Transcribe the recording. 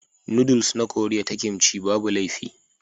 Noodles na Koriya ta Kimchi babu laifi.